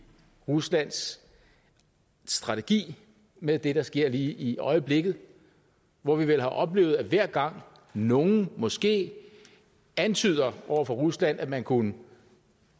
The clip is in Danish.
ruslands strategi med det der sker lige i øjeblikket hvor vi har oplevet at hver gang nogen måske antyder over for rusland at man kunne